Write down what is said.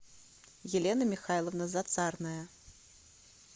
елена михайловна зацарная